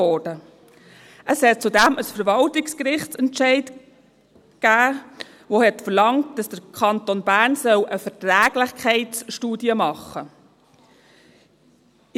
Zudem gab es einen Verwaltungsgerichtsentscheid, der verlangte, dass der Kanton Bern eine Verträglichkeitsstudie zu machen habe.